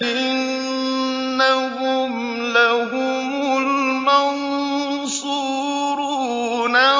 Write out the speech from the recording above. إِنَّهُمْ لَهُمُ الْمَنصُورُونَ